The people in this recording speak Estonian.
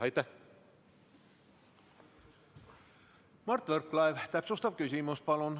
Mart Võrklaev, täpsustav küsimus, palun!